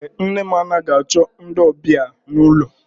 Èé, nne m anaghị achọ ndị ọbịa n'ụlọ.